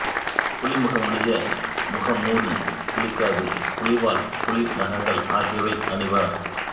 புலிமுகமுடைய முகம்மூடி புலிக்காது புலிவால் புலி நகங்கள் ஆகியவை அணிவர்